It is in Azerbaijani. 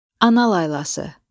Ana laylası.